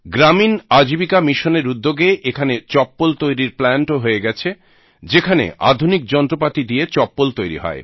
গ্রামীণ আজীবিকা মিশন এর উদ্যোগে এখানে চপ্পল তৈরির প্লান্ট ও হয়ে গেছে যেখানে আধুনিক যন্ত্রপাতি দিয়ে চপ্পল তৈরী হয়